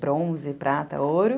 Bronze, prata, ouro.